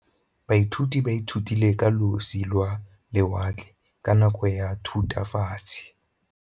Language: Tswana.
Baithuti ba ithutile ka losi lwa lewatle ka nako ya Thutafatshe.